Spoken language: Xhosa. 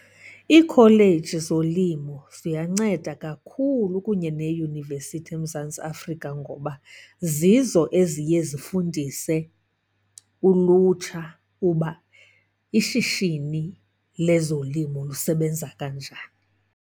Iikholeji zolimo ziyanceda kakhulu kunye neeyunivesithi eMzantsi Afrika ngoba zizo eziye zifundise ulutsha uba ishishini lezolimo lusebenza kanjani.